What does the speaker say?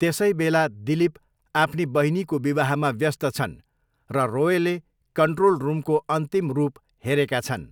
त्यसैबेला दिलीप आफ्नी बहिनीको विवाहमा व्यस्त छन्, र रोयले कन्ट्रोल रुमको अन्तिम रूप हेरेका छन्।